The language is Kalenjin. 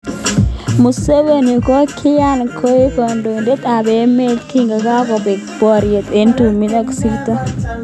Museveni kokiingian koek kandoindet ab emet kingakobek bariot eng tumin ak koisto nekonyitot Tito Okello.